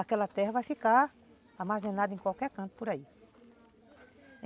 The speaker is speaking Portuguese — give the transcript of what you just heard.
aquela terra vai ficar armazenada em qualquer canto por aí.